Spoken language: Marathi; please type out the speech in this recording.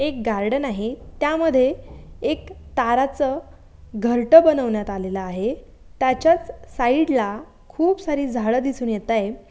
एक गार्डन आहे त्यामध्ये एक ताराच घरट बनविण्यात आलेला आहे. त्याचाच साइड ला खूप सारी झाड दिसून येत आहेत.